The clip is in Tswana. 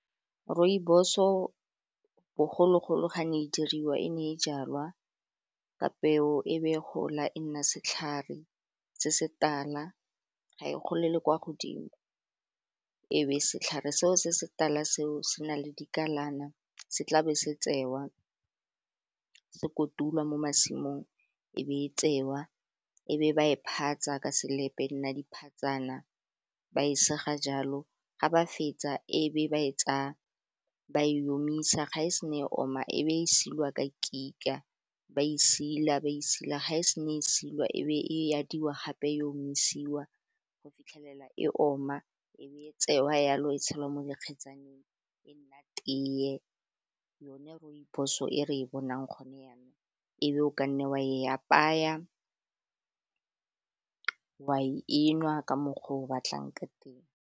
Rooibos-o, bogologolo ga ne e diriwa e ne e jalwa ka peo e be gola e nna setlhare se se tala, ga e golele kwa godimo, e be setlhare seo se se tala seo se na le dikalana se tlabe se tsewa se kotulwa mo masimong e be e tsewa e be ba e phatsa ka sepe nna dipatsana ba e sega jalo ga ba fetsa e be ba e tsaya ba e omisa, ga e sena e oma e be e silwa ka kika ba e sila-ba e sila ga e se ne e silwa e be e adiwa gape, e omisiwa, go fitlhelela e oma e be e tsewa jalo, e tshelwa mo dikgetsaneng e nna teye yone rooibos-o e re e bonang gone jaanong, ebe o kanne wa e apaya, e nwa ka mokgwa o o batlang ka teng.